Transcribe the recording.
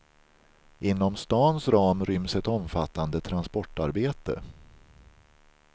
Inom stans ram ryms ett omfattande transportarbete.